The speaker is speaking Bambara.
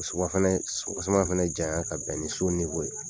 O fana janya ka bɛn ni so ye.